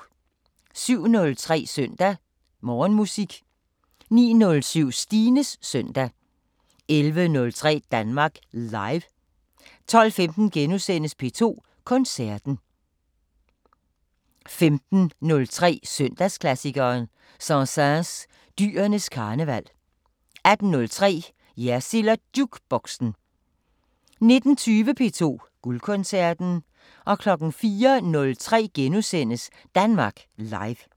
07:03: Søndag Morgenmusik 09:07: Stines Søndag 11:03: Danmark Live 12:15: P2 Koncerten * 15:03: Søndagsklassikeren – Saint-Saëns: Dyrenes karneval 18:03: Jersild & Jukeboxen 19:20: P2 Guldkoncerten 04:03: Danmark Live *